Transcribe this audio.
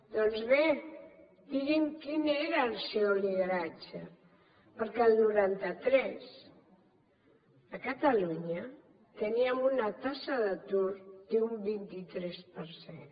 doncs bé digui’m quin era el seu lideratge perquè el noranta tres a catalunya teníem una taxa d’atur d’un vint tres per cent